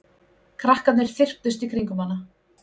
Krakkarnir þyrptust í kringum hana.